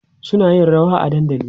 suna yin rawa a dandali